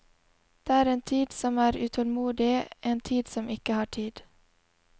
Det er en tid som er utålmodig, en tid som ikke har tid.